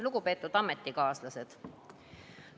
Lugupeetud ametikaaslased!